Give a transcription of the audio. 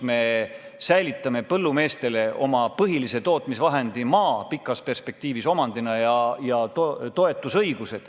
Me säilitame põllumeestele nende põhilise tootmisvahendi ehk maa pikas perspektiivis omandina ja ka toetusõiguse.